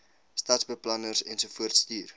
stadsbeplanners ensovoorts stuur